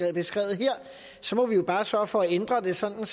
er beskrevet her så må vi jo bare sørge for at ændre det sådan